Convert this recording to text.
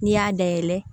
N'i y'a dayɛlɛ